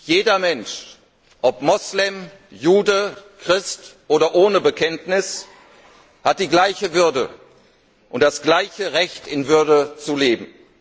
Jeder Mensch, ob Moslem, Jude, Christ oder ohne Bekenntnis, hat die gleiche Würde und das gleiche Recht, in Würde zu leben.